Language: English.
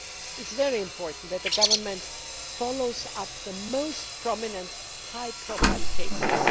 It is very important that the Government follows up the most prominent high profile cases.